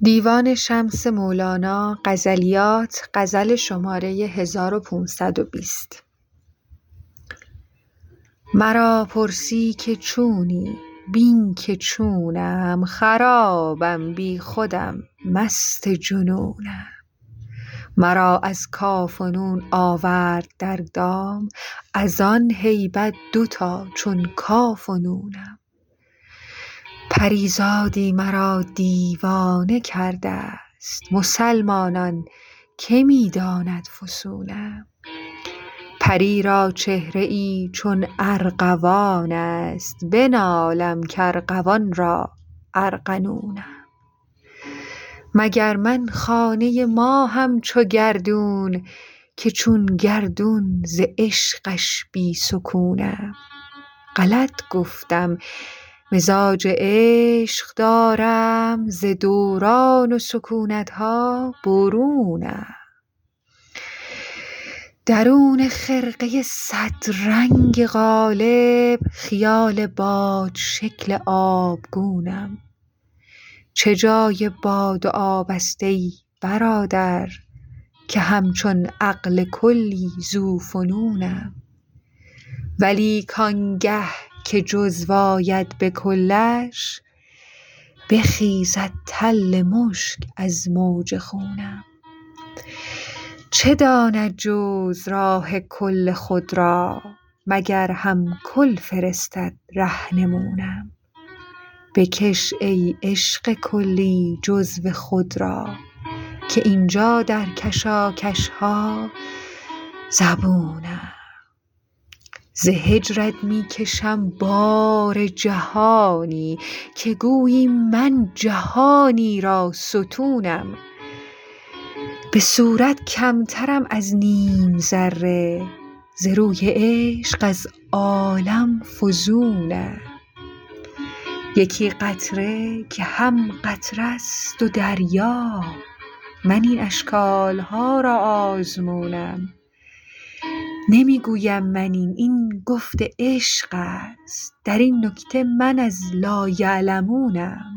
مرا پرسی که چونی بین که چونم خرابم بی خودم مست جنونم مرا از کاف و نون آورد در دام از آن هیبت دوتا چون کاف و نونم پری زاده مرا دیوانه کرده ست مسلمانان که می داند فسونم پری را چهره ای چون ارغوان است بنالم کارغوان را ارغنونم مگر من خانه ی ماهم چو گردون که چون گردون ز عشقش بی سکونم غلط گفتم مزاج عشق دارم ز دوران و سکونت ها برونم درون خرقه ی صدرنگ قالب خیال بادشکل آبگونم چه جای باد و آب است ای برادر که همچون عقل کلی ذوفنونم ولیک آنگه که جزو آید به کلش بخیزد تل مشک از موج خونم چه داند جزو راه کل خود را مگر هم کل فرستد رهنمونم بکش ای عشق کلی جزو خود را که این جا در کشاکش ها زبونم ز هجرت می کشم بار جهانی که گویی من جهانی را ستونم به صورت کمترم از نیم ذره ز روی عشق از عالم فزونم یکی قطره که هم قطره ست و دریا من این اشکال ها را آزمونم نمی گویم من این این گفت عشق است در این نکته من از لایعلمونم